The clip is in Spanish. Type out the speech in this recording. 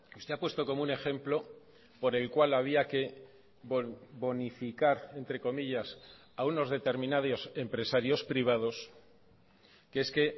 usted ha puesto como un ejemplo por el cual había que bonificar entre comillas a unos determinados empresarios privados que es que